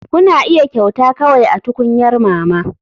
Kuna iya kyauta kawai a tukunyar mama.